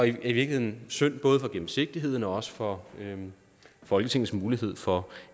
i virkeligheden synd både for gennemsigtigheden og også for folketingets mulighed for